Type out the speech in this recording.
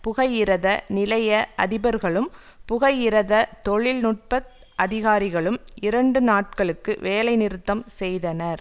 புகையிரத நிலைய அதிபர்களும் புகையிரத தொழில் நுட்ப அதிகாரிகளும் இரண்டு நாட்களுக்கு வேலைநிறுத்தம் செய்தனர்